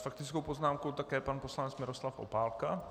S faktickou poznámkou také pan poslanec Miroslav Opálka.